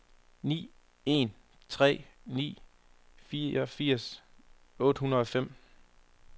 ni en tre ni fireogfirs otte hundrede og fem